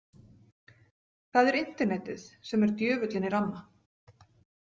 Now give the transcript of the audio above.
Það er internetið sem er djöfullinn í ramma.